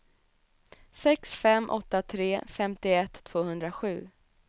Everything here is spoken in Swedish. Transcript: sex fem åtta tre femtioett tvåhundrasju